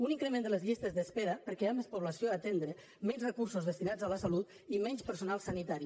un increment de les llistes d’espera perquè hi ha més població a atendre menys recursos destinats a la salut i menys personal sanitari